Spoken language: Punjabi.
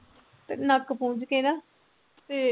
ਤੇ ਨੱਕ ਪੂੰਜ ਕੇ ਨਾ ਤੇ